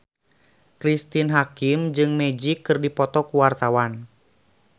Cristine Hakim jeung Magic keur dipoto ku wartawan